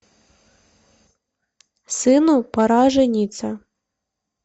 сыну пора жениться